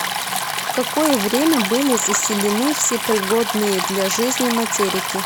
в какое время были заселены все пригодные для жизни материки